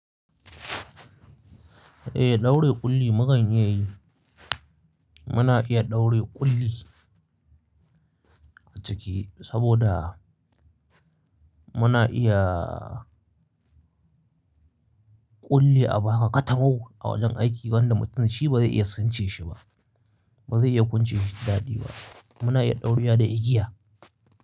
Eh, ɗaure ƙulli mukan iyayi. Muna iya ɗaure ƙulli a ciki saboda muna iya ƙulli a baka katamau, a wajen aiki wanda mutum shi ba zai iya sunce shi ba, ba zai iya kunce shi ta daɗi ba. Muna iya ɗaurewa da igiya,